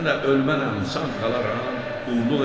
hələ ölməmişəm, sağ qalaram, qulluq elərəm,